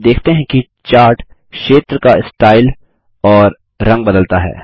आप देखते हैं कि चार्ट क्षेत्र का स्टाइल और रंग बदलता है